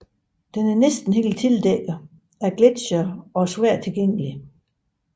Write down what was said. Den er næsten helt dækket af gletsjere og svært tilgængelig